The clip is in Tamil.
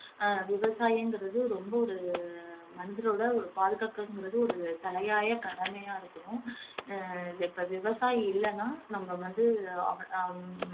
அஹ் விவசாயம்ங்குறது ரொம்ப ஒரு மனிதரோட ஒரு பாதுகாக்குறங்கறது ஒரு தலையாயக் கடமையா இருக்கும் ஆஹ் இப்ப விவசாயி இல்லைன்னா நம்ம வந்து அ~ ஆஹ்